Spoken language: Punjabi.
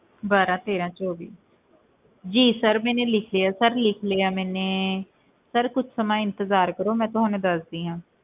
ਬਾਰਾਂ ਤੇਰਾਂ ਚੌਵੀ ਜੀ sir ਮੈਨੇ ਲਿਖ ਲਿਆ sir ਲਿਖ ਲਿਆ ਮੈਨੇ sir ਕੁਛ ਸਮਾਂ ਇੰਤਜ਼ਾਰ ਕਰੋ ਮੈਂ ਤੁਹਾਨੂੰ ਦੱਸਦੀ ਹਾਂ